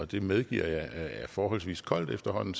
det medgiver jeg er forholdsvis koldt efterhånden